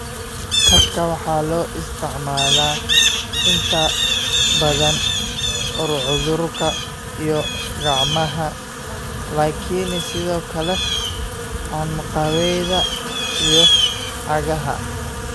Kabka waxa loo isticmaalaa inta badan curcurka iyo gacmaha, laakiin sidoo kale anqawyada iyo cagaha.